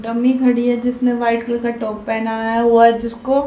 dummy खड़ी है जिसने व्हाइट कलर का टॉप पहेनाया हुआ हैं जिसको--